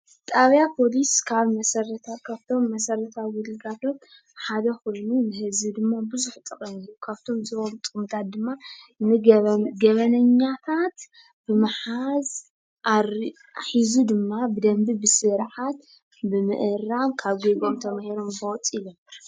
ጣብያ ፖሊስ ካብቶም መሰረታዊ ግልጋሎት ሓደ ኮይኑ ንህዝቢ ድማ ብዙሕ ጠቐሜታ ካብቶም ዝህቦም ጥቕምታት ድማ ንገበኛታት ብምሓዝ ሒዙ ድማ ብደንቢ ብስርዓት ብምእራም ካብ ገበኖም ተማሂሮም ከወፁ ይገብር።